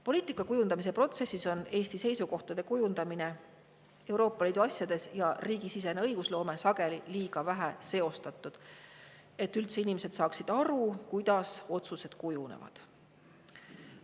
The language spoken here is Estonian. Poliitika kujundamise protsessis on Eesti seisukohtade kujundamine Euroopa Liidu asjades ja riigisisene õigusloome sageli liiga vähe seostatud, nii et inimestel on raske aru saada, kuidas otsused kujunevad.